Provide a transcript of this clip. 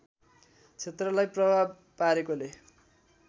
क्षेत्रलाई प्रभाव पारेकोले